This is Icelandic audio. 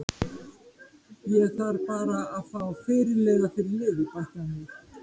Ég þarf bara að fá fyrirliða fyrir liðið, bætti hann við.